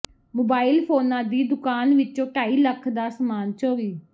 mobile ਫੋਨਾਂ ਦੀ ਦੁਕਾਨ ਵਿੱਚੋਂ ਢਾਈ ਲੱਖ ਦਾ ਸਾਮਾਨ ਚੋਰੀ